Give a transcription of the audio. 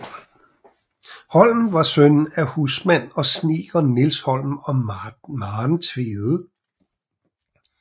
Holm var søn af husmand og snedker Niels Holm og Maren Tvede